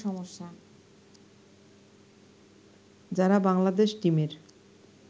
যারা বাংলাদেশ টিমের